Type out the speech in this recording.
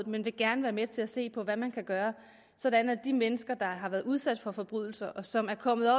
men vil gerne være med til at se på hvad man kan gøre sådan at de mennesker der har været udsat for forbrydelser og som er kommet